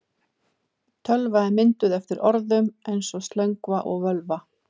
Tölva er myndað eftir orðum eins og slöngva og völva.